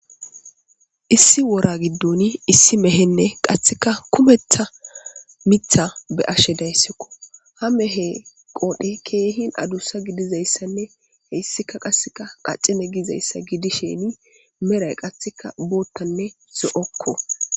Issi wora giddoni issi mehenne qasseka kumetha mitha be'ashe dayssikko .Ha mehe qoodan keehin adussa gidiza issanne he issika qasseka qacine giza issa gidisheni meray qassika boottanne zo'okko.